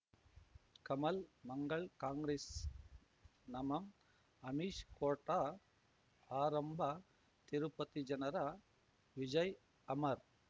ಕಮಲ್ ಮಂಗಳ್ ಕಾಂಗ್ರೆಸ್ ನಮಂ ಅಮಿಷ್ ಕೋರ್ಟ್ ಆರಂಭ ತಿರುಪತಿ ಜನರ ವಿಜಯ್ ಅಮರ್